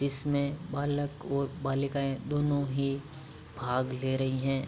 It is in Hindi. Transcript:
इसमें बालक और बालिकायें दोनों ही भाग ले रहीं हैं